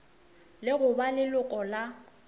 le go ba leloko la